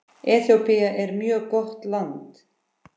Eþíópía er mjög gott land.